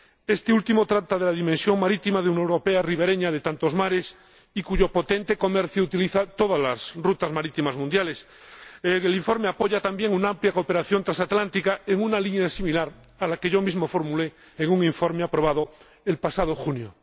Este último trata de la dimensión marítima de una Unión Europea ribereña de tantos mares y cuyo potente comercio utiliza todas las rutas marítimas mundiales. El informe apoya también una amplia cooperación transatlántica en una línea similar a la que yo mismo formulé en un informe aprobado el pasado junio.